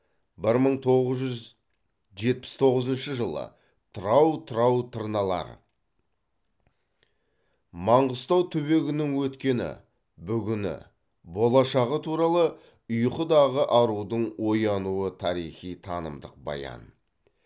бір мың тоғыз жүз жетпіс тоғызыншы жылы тырау тырау тырналар маңғыстау түбегінің өткені бүгіні болашағы туралы ұйқыдағы арудың оянуы тарихи танымдық баян